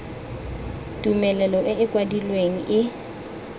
tumelelo e e kwadilweng e